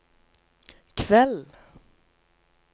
kveld